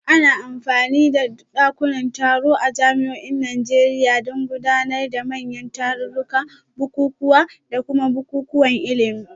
Ana amfani da dakunan taro a jami'o'in Najeriya don gudanar da manyan tarurruka, bukukuwa, da kuma bukukuwan ilimi